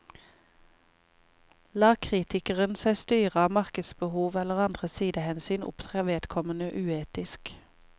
Lar kritikeren seg styre av markedsbehov eller andre sidehensyn, opptrer vedkommende uetisk.